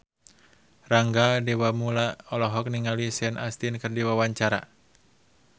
Rangga Dewamoela olohok ningali Sean Astin keur diwawancara